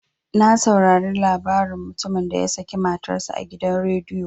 Na saurare labaran mutumin da ya sake matar sa a gidan rediyo.